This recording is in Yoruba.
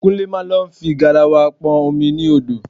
Kúnlé máa lọ fi garawa pọn omi ní odò